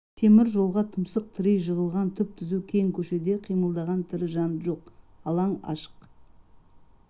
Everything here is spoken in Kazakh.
темір жолға тұмсық тірей жығылған түп-түзу кең көшеде қимылдаған тірі жан жоқ алаң ашық